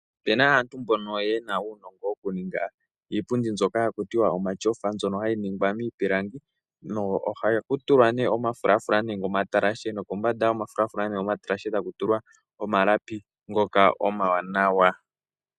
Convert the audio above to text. Opena aantu mbono yena uunongo wokuninga iipundi mbyoka haku tiwa omatyofa. Mbyono hayi ningwa miipilangi. Ano ohaku tulwa nee omafulafula nenge omatalashe nokombanda yomafulafula nenge omatalashe taku tulwa omalapi ngoka omawanawa.